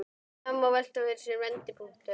Í dag má velta fyrir sér vendipunktinum.